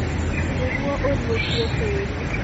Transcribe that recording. nĩguo ũriũkie tĩri